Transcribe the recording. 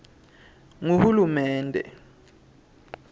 nguhulumende